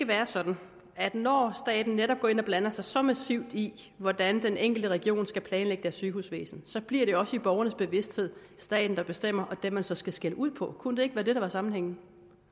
være sådan at når staten netop går ind og blander sig så massivt i hvordan den enkelte region skal planlægge sit sygehusvæsen bliver det også i borgernes bevidsthed staten der bestemmer og den man så skal skælde ud på kunne det ikke være det der var sammenhængen